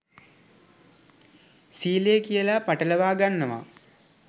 සීලය කියලා පටලවා ගන්නවා